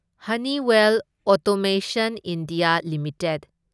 Honeywell automation India limited